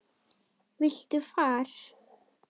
Viltu far?